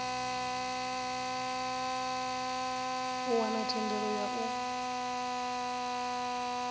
u wana thendelo ya u